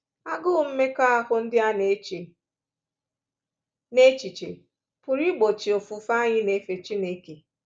Agụụ mmekọahụ ndị a na-eche n’echiche pụrụ igbochi ofufe anyị na-efe Chineke.